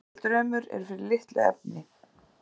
Mikill draumur er fyrir litlu efni.